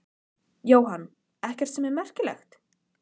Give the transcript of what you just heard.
Henni verður rórra að finna til þessarar nálægðar hans.